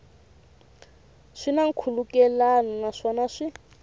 swi na nkhulukelano naswona swi